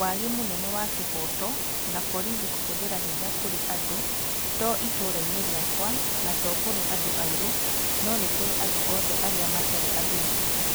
wagi mũnene wa kĩhooto na borithi kũhũthĩra hĩnya kũrĩ andũ, to ĩtũũra-inĩ rĩakwa na to kũrĩ andũ airũ, no nĩ kũrĩ andũ othe arĩa matarĩ athũngũ.